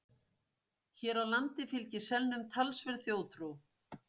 hér á landi fylgir selnum talsverð þjóðtrú